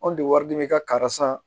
Anw de wari dibi kari san